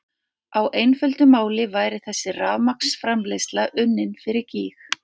Á einföldu máli væri þessi rafmagnsframleiðsla unnin fyrir gýg!